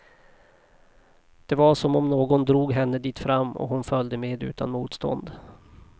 Det var som om någon drog henne dit fram, och hon följde med utan motstånd.